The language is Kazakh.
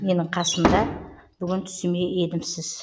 менің қасымда бүгін түсіме еніпсіз